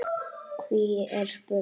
Hví er spurt?